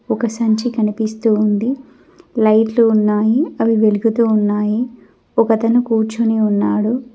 ఒక సంచి కనిపిస్తూ ఉంది లైట్లు ఉన్నాయి అవి వెలుగుతూ ఉన్నాయి ఒకతను కూర్చొని ఉన్నాడు.